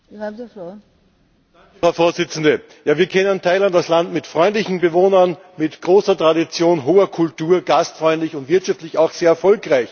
Frau Präsidentin! Wir kennen Thailand als Land mit freundlichen Bewohnern, mit großer Tradition, hoher Kultur, gastfreundlich und wirtschaftlich auch sehr erfolgreich.